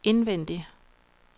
indvendig